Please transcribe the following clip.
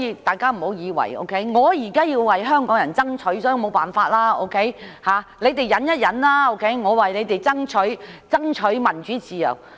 大家不要認為︰我們現在要為香港人爭取民主自由，所以沒有辦法，你們先忍一忍，我們是為你們爭取民主自由。